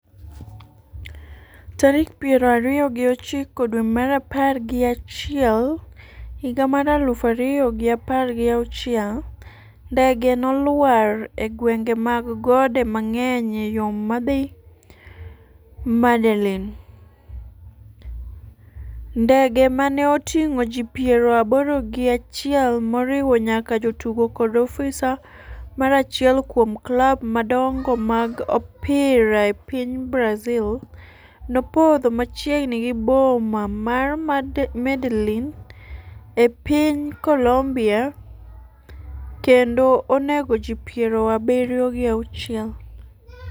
tarik piero ariyo gi ochiko dwe mar apar gi achiel higa mar aluf ariyo gi apar gi auchiel Ndege no nolwar e gwenge mag gode mang'eny e yo ma dhi Medellin. Ndege mane oting'o ji piero aboro gi achiel, moriwo nyaka jotugo kod ofisa mar achiel kuom klab madongo mag opira e piny Brazil, nopodho machiegni gi boma mar Medellin e piny Colombia kendo onego ji piero abiriyo gi auchiel